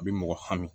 A bi mɔgɔ hami